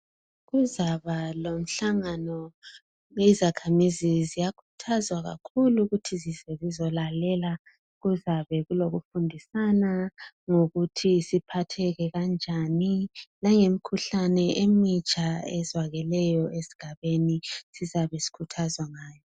Kuzaba lomhlangano. Izakhamizi ziyakhuthazwa kakhulu ukuthi zize zizolalela. Kuzabe kulokufundisana, ukuthi siphathane kanjani. Langemikhuhlane emitsha ezwakeleyo esigabeni. Siyabe sikhuthazwa ngayo.